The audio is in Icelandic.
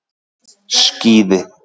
Skíði